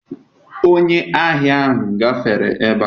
Onye ahia ahụ gafere ebe a.